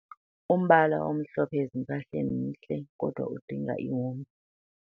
Umbala omhlophe ezimpahleni mhle kodwa udinga ihomba.